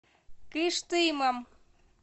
кыштымом